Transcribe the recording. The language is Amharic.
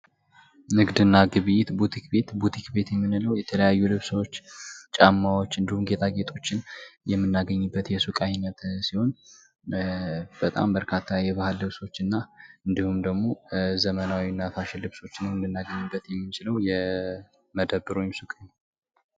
ዓለም አቀፍ ንግድ በሀገራት መካከል የሸቀጦችና የአገልግሎቶች ልውውጥን የሚያካትት ሲሆን የኢኮኖሚ ትስስርን ያጠናክራል።